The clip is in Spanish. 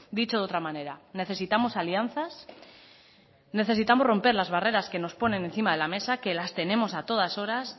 dicho de otra manera necesitamos alianzas necesitamos romper las barreras que nos ponen encima de la mesa que las tenemos a todas horas